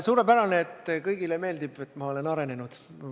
Suurepärane, et kõigile meeldib, kuidas ma olen arenenud.